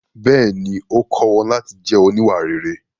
Bẹ́ẹ̀ni, ó kọ́ wọn láti jẹ́ oníwà rere.